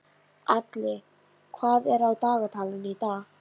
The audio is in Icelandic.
Alli, hvað er á dagatalinu í dag?